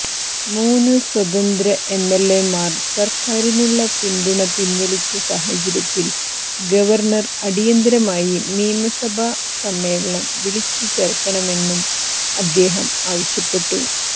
മൂന്ന് സ്വതന്ത്ര എംഎൽഎമാർ സർക്കാരിനുള്ള പിന്തുണ പിൻവലിച്ച സാഹചര്യത്തിൽ ഗവർണർ അടിയന്തരമായി നിയമസഭാ സമ്മേളനം വിളിച്ചുചേർക്കണമെന്നും അദ്ദേഹം ആവശ്യപ്പെട്ടു